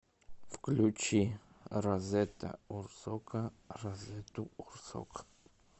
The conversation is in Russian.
включи разета урсока разету урсок